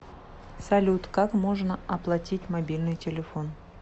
салют как можно оплатить мобильный телефон